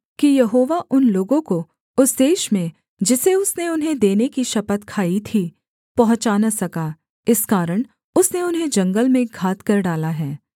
कि यहोवा उन लोगों को उस देश में जिसे उसने उन्हें देने की शपथ खाई थी पहुँचा न सका इस कारण उसने उन्हें जंगल में घात कर डाला है